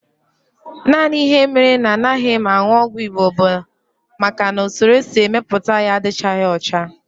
Naanị ihe mere na anaghị m aṅụ ọgwụ Igbo bụ maka na usoro e si mepụta ya adịchaghị ọcha